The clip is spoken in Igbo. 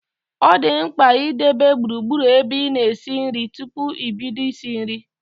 Ọ dị mkpa ị debe gburugburu ebe ị na esi nri tupu i bido isi nri